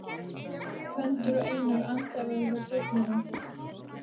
Gvendur og Einar andæfa hjá duflinu.